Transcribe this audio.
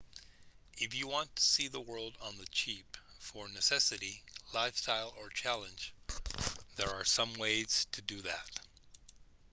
if you want to see the world on the cheap for necessity lifestyle or challenge there are some ways to do that